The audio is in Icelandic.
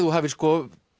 þú hafir